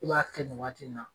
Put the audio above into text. K'u b'a kɛ nin waati in na